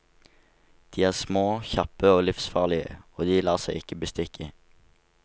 De er små, kjappe og livsfarlige, og de lar seg ikke bestikke.